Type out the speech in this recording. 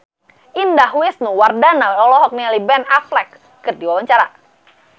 Indah Wisnuwardana olohok ningali Ben Affleck keur diwawancara